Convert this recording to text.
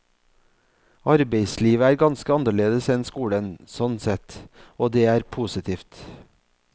Arbeidslivet er ganske annerledes enn skolen, sånn sett, og det er positivt.